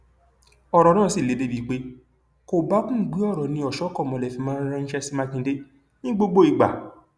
ọrọ náà sì le débii pé kòbákùngbé ọrọ ni ọṣọkọmọlẹ fi máa ń ránṣẹ sí mákindè ní gbogbo ìgbà